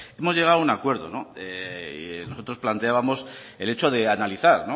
hemos llegado a un acuerdo nosotros planteábamos el hecho de analizar